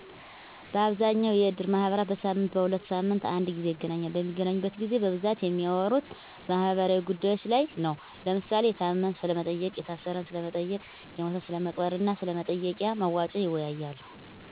በአብዛኛው የእድር ማህበራት በሳምንትና በሁለት ሳምንት አንድ ግዜ ይገናኛሉ። በሚገናኙበት ግዜ በብዛት የሚያወሩት ማህበራዊ ጉዳዮች ላይ ነው። ለምሳሌ፦ የታመመን ስለመጠየቅ፣ የታሰረን ስለመጠየቅ፣ የሞተን ስለመቅበርና ስለመጠየቂያ መዋጮ ይወያያሉ።